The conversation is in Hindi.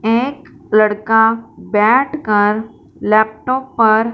एक लड़का बैठकर लैपटॉप पर--